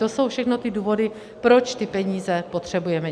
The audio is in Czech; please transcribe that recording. To jsou všechno ty důvody, proč ty peníze potřebujeme.